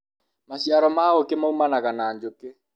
maciaro ma ũkĩ maumanaga na njũkĩ